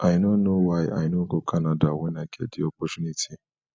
i no know why i no go canada wen i get the opportunity